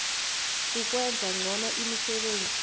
ukwenza ngcono imisebenzi